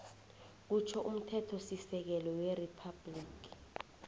kutjho umthethosisekelo weriphabhligi